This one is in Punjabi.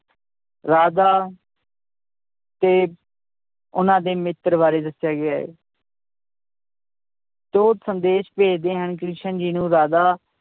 ਰਾਧਾ ਤੇ ਉਹਨਾਂ ਦੇ ਮਿੱਤਰ ਬਾਰੇ ਦੱਸਿਆ ਗਿਆ ਹੈ ਤੇ ਉਹ ਸੰਦੇਸ਼ ਭੇਜਦੇ ਹਨ ਕ੍ਰਿਸ਼ਨ ਜੀ ਨੂੰ ਰਾਧਾ